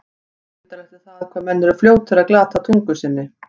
Undarlegt er það, hvað menn eru fljótir að glata tungu sinni.